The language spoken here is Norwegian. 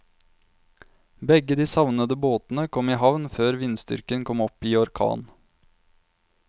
Begge de savnede båtene kom i havn før vindstyrken kom opp i orkan.